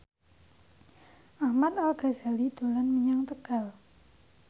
Ahmad Al Ghazali dolan menyang Tegal